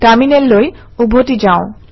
টাৰমিনেললৈ উভতি যাওঁ